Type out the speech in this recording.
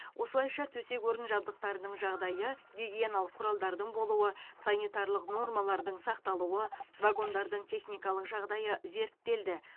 осылайша төсек орын жабдықтарының жағдайы гигиеналық құралдардың болуы санитарлық нормалардың сақталуы вагондардың техникалық жағдайы зерттелді